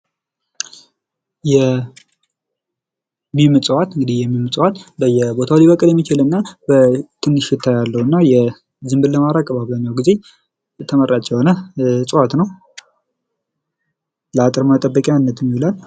የሚም ዕፅዋት እንግዲህ የሚም ዕፅዋት በየቦታው ሊበቅል የሚችል ትንሽ እንትን አለውና ዝም ብሎ ማረግ አብዛኛውን ጊዜ ተመራጭ የሆነ ዕፅዋት ነው። ለአጥር መጠበቂያነትም ይውላል።